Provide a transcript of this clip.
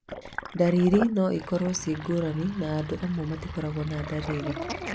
Ndariri no ikorwo ci ngũrani na andũ amwe matikoragwo na ndariri